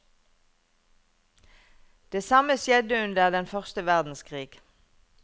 Det samme skjedde under den første verdenskrig.